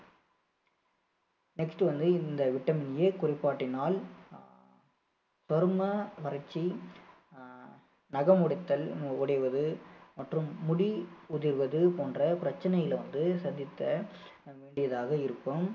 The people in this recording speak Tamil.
next வந்து இந்த vitamin A குறைபாட்டினால் சரும வறட்சி அஹ் நகம் உடைத்தல் உடைவது மற்றும் முடி உதிர்வது போன்ற பிரச்சனைகளை வந்து சந்திக்க வேண்டியதாக இருக்கும்